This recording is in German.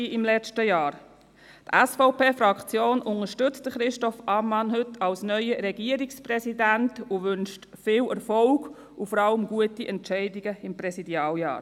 Die SVP-Fraktion unterstützt Christoph Ammann heute als neuen Regierungspräsidenten und wünscht viel Erfolg und vor allem gute Entscheidungen während des Präsidialjahres.